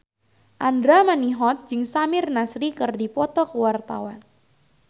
Andra Manihot jeung Samir Nasri keur dipoto ku wartawan